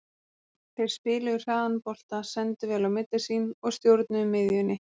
Þeir spiluðu hraðan bolta, sendu vel á milli sín og stjórnuðu miðjunni.